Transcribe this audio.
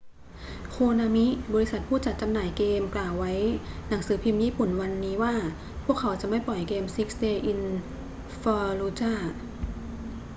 โคนามิ บริษัทผู้จัดจำหน่ายเกมกล่าวไว้หนังสือพิมพ์ญี่ปุ่นวันนี้ว่า พวกเขาจะไม่ปล่อยเกม six days in fallujah